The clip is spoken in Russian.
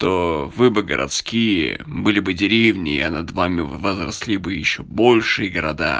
то вы бы городские были бы деревне я над вами если бы ещё большие города